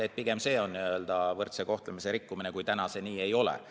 Et pigem see on võrdse kohtlemise põhimõtte rikkumine, kui see täna nii ei ole.